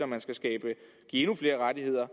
man skal skabe endnu flere rettigheder